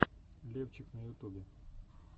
левчик на ютубе